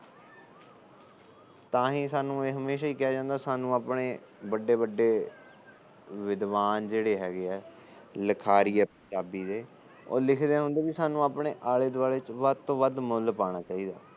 ਤਾਹੀ ਸਾਨੂੰ ਇਹ ਕਿਹਾ ਜਾਂਦਾ ਕਿ ਸਾਡੇ ਵੱਡੇ ਵੱਡੇ ਵਿਦਵਾਨ ਜਿਹੜੇ ਹੈਗੇ ਏ ਲਿਖਾਰੀ ਏ ਪੰਜਾਬੀ ਦੇ ਉਹ ਲਿਖਦੇ ਹੁੰਦੇ ਕਿ ਸਾਨੂੰ ਆਪਣੇ ਆਲੇ ਦੁਆਲੇ ਚ ਵੱਧ ਤੋ ਵੱਧ ਮੁਲ ਪਾਣਾ ਚਾਹੀਦਾ